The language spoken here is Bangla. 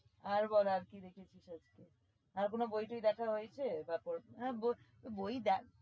আর বল আর কি দেখেছিস আজকে? আর কোনো বই টই দেখা হয়েছে? বই দেখ